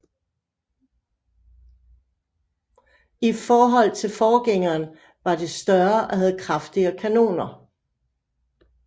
I forhold til forgængeren var det større og havde kraftigere kanoner